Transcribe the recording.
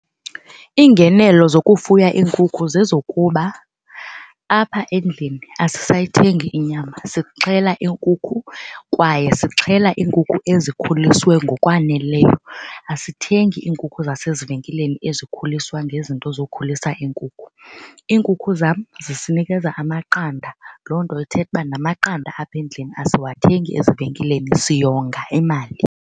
Iingenelo zokufuya iinkukhu zezokuba apha endlini asisayithengi inyama, sixhela iinkukhu kwaye sixhela iinkukhu ezikhuliswe ngokwaneleyo. Asithengi iinkukhu zasezivenkileni ezikhuliswa ngezinto zokhulisa iinkukhu. Iinkukhu zam zisinikeza amaqanda loo nto ithetha uba namaqanda apha endlini asiwathengi ezivenkileni siyonga imali.